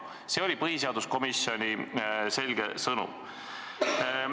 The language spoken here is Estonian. See oli põhiseaduskomisjoni selge sõnum.